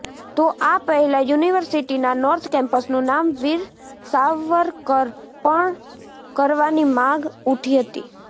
તો આ પહેલાં યુનિવર્સિટીના નોર્થ કેમ્પસનું નામ વીર સાવરકર પણ કરવાની માગ ઉઠી હતી